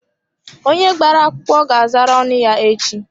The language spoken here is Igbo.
Onye agbara akwụkwọ ga azara ọnụ ya echi.